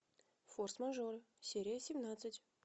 форс мажор серия семнадцать